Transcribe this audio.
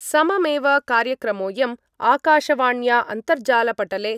सममेव कार्यक्रमोयम् आकाशवाण्या अन्तर्जालपटले